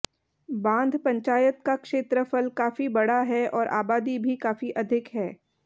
बांध पंचायत का क्षेत्रफल काफी बड़ा है और आबादी भी काफी अधिक है